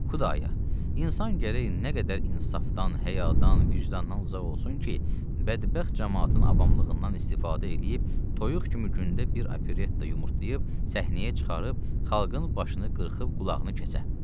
Xudaya, insan gərək nə qədər insafdan, həyadan, vicdandan uzaq olsun ki, bədbəxt camaatın avamlığından istifadə eləyib toyuq kimi gündə bir operetta yumurtlayıb səhnəyə çıxarıb xalqın başını qırxıb qulağını kəsə.